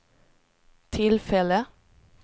tillfälle